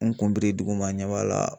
N kun biri duguma n ɲɛ b'a la